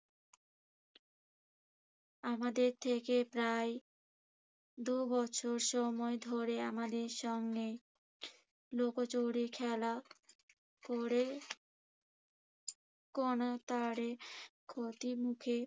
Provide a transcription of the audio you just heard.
আমাদের থেকে প্রায় দুবছর সময় ধরে আমাদের সঙ্গে লুকোচুরি খেলা করে কোনো স্তরে ক্ষতির মুখে